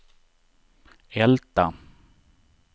Älta